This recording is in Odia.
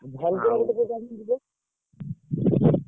ମନ୍ଦିର ପଟେ ଯେ ଯିବେ,